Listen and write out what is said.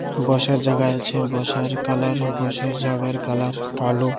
বসার জাগায় আছে বসার কালার বসার জাগার কালার কালো।